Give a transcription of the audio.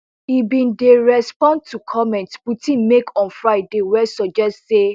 e bin dey respond to comments putin make on friday wey suggest say